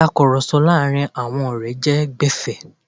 Ìtakurọ̀sọ láàrin àwọn ọ̀rẹ́ jẹ́ gbẹ̀fé.